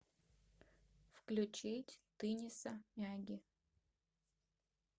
включить тыниса мяги